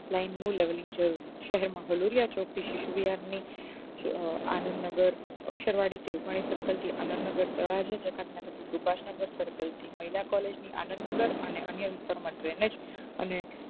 line નું level નુ journey શહેર માં હલુંડીયા ચોક નું શિશુ વિહારની આનંદ નગર અક્ષર વાડી circle થી આનંદ નગર તળાજુ જતાક નગર થી સુભાષ નગ circle થી મહિલા collage થી આનંદ નગર અને અન્ય ઉત્તર માં દ્રેમેજ